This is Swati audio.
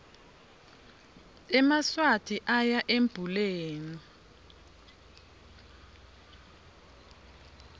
emaswati oya embuleni